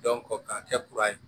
k'a kɛ kura ye